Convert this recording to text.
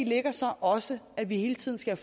ligger så også at vi hele tiden skal